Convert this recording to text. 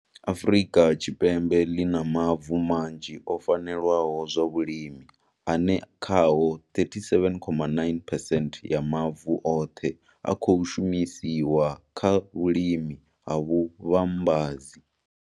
Afrika Tshipembe ḽi na mavu manzhi o fanelaho zwa vhulimi, ane khao 37,9 percent ya mavu oṱhe a khou shumisiwa kha vhulimi ha vhu vhambadzi.